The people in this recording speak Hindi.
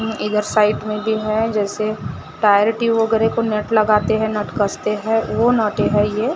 इधर साइड में भी है जैसे टायर ट्यूब वगैरा को नट लगाते हैं नट कसते हैं वो नटे हैं ये--